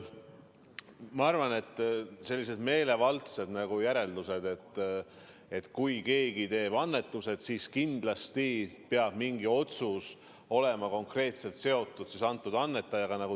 Ma arvan, et see on meelevaldne järeldus, et kui keegi teeb annetuse, siis kindlasti peab mingi otsus olema konkreetselt seotud selle annetajaga.